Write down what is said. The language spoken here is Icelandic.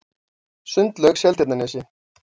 Sundlaug Seltjarnarnesi